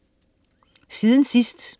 Siden sidst